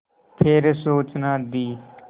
फिर सूचना दी